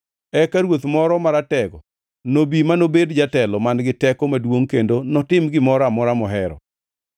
Eka ruoth moro maratego nobi, manobed jatelo man-gi teko maduongʼ kendo notim gimoro amora mohero.